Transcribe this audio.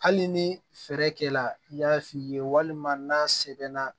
Hali ni fɛɛrɛ kɛla i y'a f'i ye walima n'a sɛbɛnna